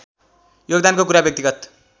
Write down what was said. योगदानको कुरा व्यक्तिगत